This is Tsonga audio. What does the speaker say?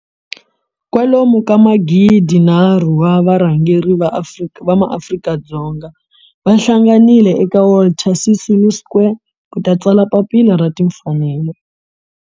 Kwalomu ka magidi nharhu wa varhangeri va maAfrika-Dzonga va hlanganile eka Walter Sisulu Square ku ta tsala Papila ra Timfanelo.